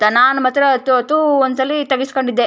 ನಾನು ಮಾತ್ರ ಅತ್ತು ಅತ್ತು ಒಂದ್ ಸಲಿ ತೆಗೆಸ್ಕಂಡಿದ್ದೆ.